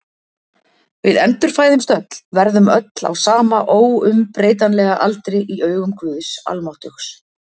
Við endurfæðumst öll, verðum öll á sama óumbreytanlega aldri í augum Guðs almáttugs.